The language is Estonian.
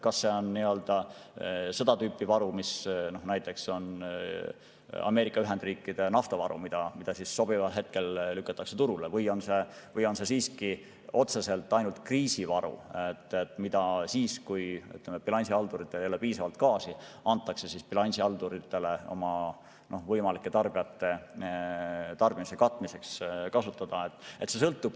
Kas see on seda tüüpi varu, nagu näiteks on Ameerika Ühendriikide naftavaru, mis sobival hetkel lükatakse turule, või on see siiski otseselt kriisivaru, mis siis, kui bilansihalduritel ei ole piisavalt gaasi, antakse bilansihalduritele oma võimalike tarbijate tarbimise katmiseks kasutada?